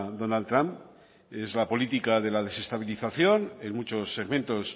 donald trump y es la política de la desestabilización en muchos segmentos